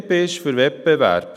Die BDP ist für Wettbewerb.